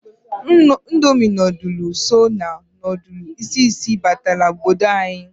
Indomi nodulu so na nodulu isisi batara n'obodo anyị.